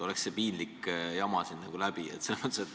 Oleks see piinlik jama siin läbi.